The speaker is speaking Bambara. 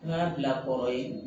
N y'a bila kɔrɔ ye